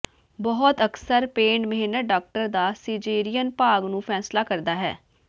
ਬਹੁਤ ਅਕਸਰ ਪੇਡ ਮਿਹਨਤ ਡਾਕਟਰ ਦਾ ਸਿਜੇਰਿਅਨ ਭਾਗ ਨੂੰ ਫ਼ੈਸਲਾ ਕਰਦਾ ਹੈ